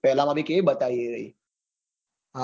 પેલા માં ભી કેવી બતાઈ છે એ રઈ